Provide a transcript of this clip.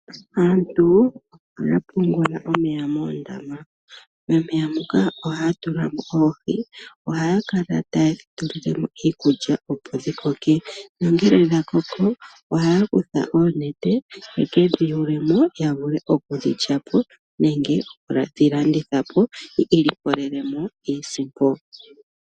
Aantu ohaya pungula omeya moondama. Momeya moka ohaya tulamo oohi ohaya kala tayedhi tulilemo iikulya opo dhi koke. Nongele dha koko ohaya kutha oonete yeke dhiyulemo ya vule oku dhilyapo nenge yedhi landithepo yo yiilikolele iisimpo.